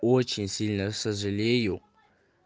очень сильно сожалею